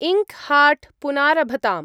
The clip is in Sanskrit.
इङ्क्-हार्ट् पुनारभताम्।